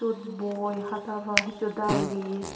sut boi hata ba hichu diary.